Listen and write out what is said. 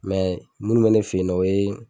minnu bɛ ne fɛ ye nɔ o ye